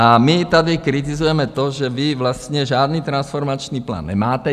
A my tady kritizujeme to, že vy vlastně žádný transformační plán nemáte.